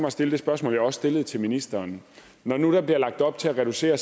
at stille det spørgsmål jeg også stillede til ministeren når nu der bliver lagt op til at reducere